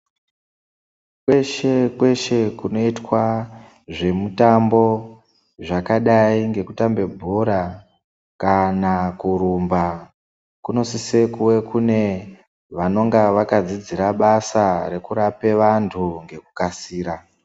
Kweshe kweshe kunoitwa zvemutambo zvakadai ngekutamve bhora kana kurumba kunosise kunge kune vanenge vakadzidzira basa rekurape antu ngekukasira.